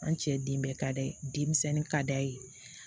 An cɛ den bɛɛ ka d'a ye den misɛnnin ka d'a ye